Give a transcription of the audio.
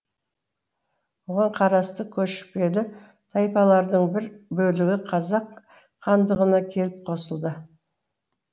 оған қарасты көшпелі тайпалардың бір бөлегі қазақ хандығына келіп қосылды